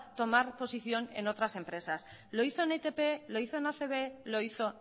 tomar posición en otras empresas lo hizo en itp lo hizo en acb lo hizo